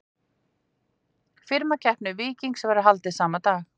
Firmakeppni Víkings verður haldið sama dag.